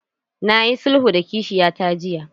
Na yi sulhu da kishiyata jiya.